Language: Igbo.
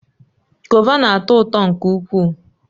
Govà na-atọ ụtọ nke ukwuu